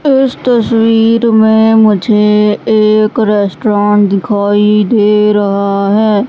उस तस्वीर में मुझे एक रेस्टोरेंट दिखाई दे रहा हैं।